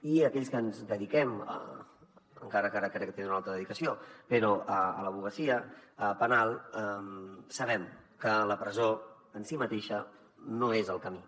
i aquells que ens dediquem encara que ara tenen una altra dedicació a l’advocacia penal sabem que la presó en si mateixa no és el camí